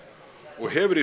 og hefur